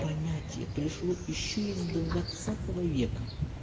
понятие пришло ещё из двадцатого века